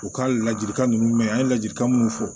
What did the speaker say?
U ka ladilikan ninnu mɛn an ye ladilikan minnu fɔ